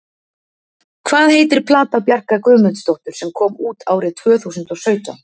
Hvað heitir plata Bjarkar Guðmundsdóttur sem kom út árið tvöþúsund og sautján?